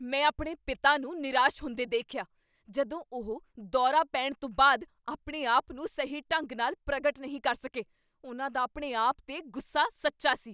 ਮੈਂ ਆਪਣੇ ਪਿਤਾ ਨੂੰ ਨਿਰਾਸ਼ ਹੁੰਦੇ ਦੇਖਿਆ ਜਦੋਂ ਉਹ ਦੌਰਾ ਪੈਣ ਤੋਂ ਬਾਅਦ ਆਪਣੇ ਆਪ ਨੂੰ ਸਹੀ ਢੰਗ ਨਾਲ ਪ੍ਰਗਟ ਨਹੀਂ ਕਰ ਸਕੇ। ਉਹਨਾਂ ਦਾ ਆਪਣੇ ਆਪ 'ਤੇ ਗੁੱਸਾ ਸੱਚਾ ਸੀ।